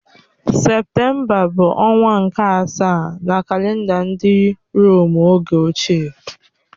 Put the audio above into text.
Septemba bụ ọnwa nke asaa na kalenda ndị Rom oge ochie